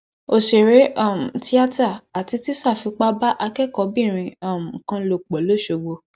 òṣèré um tìátà àti tíṣà fipá bá akẹkọọbìnrin um kan lò pọ losogbo